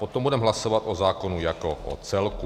Potom budeme hlasovat o zákonu jako o celku.